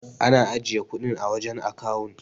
Ana ajiye kudin a wajan akawun